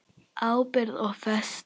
Ábyrgð og festa